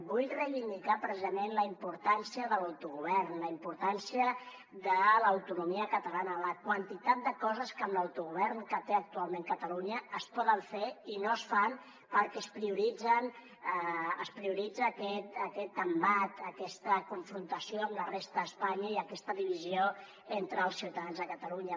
vull reivindicar precisament la importància de l’autogovern la importància de l’autonomia catalana la quantitat de coses que amb l’autogovern que té actualment catalunya es poden fer i no es fan perquè es prioritza aquest embat aquesta confrontació amb la resta d’espanya i aquesta divisió entre els ciutadans de catalunya